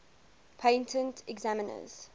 patent examiners